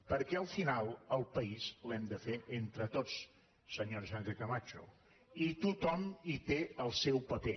perquè al final el país l’hem de fer entre tots senyora sánchez camacho i tothom hi té el seu paper